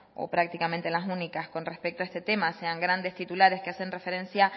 o prácticamente las únicas con respecto a este tema sean grandes titulares que hacen referencia